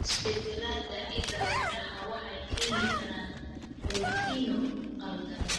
Isbeddellada hidda-wadaha waxay keeni karaan borotiinno khaldan.